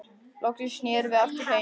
Loksins snerum við aftur heim.